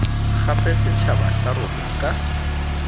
gape setšhaba sa rona ka